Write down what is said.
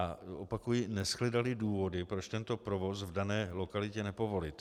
A opakuji, neshledaly důvody, proč tento provoz v dané lokalitě nepovolit.